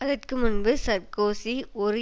அதற்கு முன்பு சார்க்கோசி ஒரு